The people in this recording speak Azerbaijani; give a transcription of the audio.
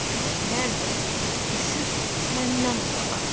Küləklər də düşüb məndən uzağa.